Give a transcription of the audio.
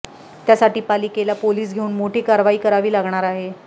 त्यासाठी पालिकेला पोलीस घेऊन मोठी कारवाई करावी लागणार आहे